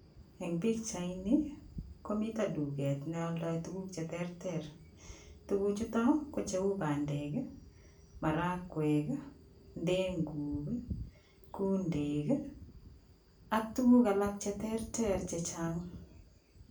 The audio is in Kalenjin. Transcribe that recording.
Eng' pichaini komito duket nealdoi tukuk che terter. Tukuk chutokko cheu pandek, marakwek, ndenguk, kundek ak tukuk alak che terter che chang'.